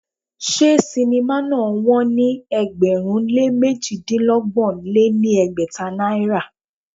Ṣé sinimá náà wón ní ẹgbẹ̀rún lé méjidínọgbọ̀n lé ní ẹgbẹ́ta náírà?